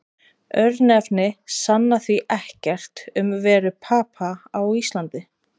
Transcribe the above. Örnefni sanna því ekkert um veru Papa á Íslandi.